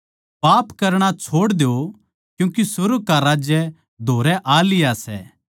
पाप करणा छोड़ द्यो क्यूँके सुर्ग का राज्य धोरै आ लिया सै